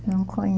Não